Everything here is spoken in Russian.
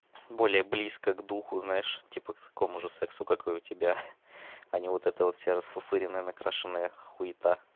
более близко к духу знаешь типа к такому же сексу как и у тебя а не вот это вот вся расфуфыренная накрашенная хуита